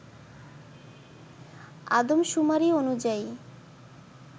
আদমশুমারি অনুযায়ী